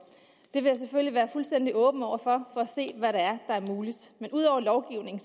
jeg vil selvfølgelig være fuldstændig åben over for at se hvad der er muligt ud over lovgivningen